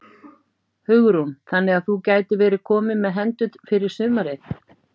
Hugrún: Þannig að þú gætir verið kominn með hendur fyrir sumarið?